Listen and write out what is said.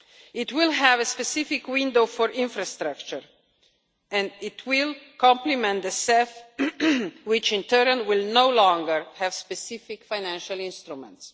It will have a specific window for infrastructure and it will complement the CEF, which in turn will no longer have specific financial instruments.